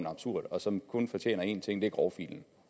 absurd og som kun fortjener én ting og det er grovfilen